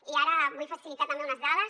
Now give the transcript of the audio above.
i ara vull facilitar també unes dades